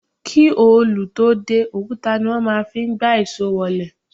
Kí òlù tó dé, òkúta ní wọ́n fí ń gbá ìṣó wọlé.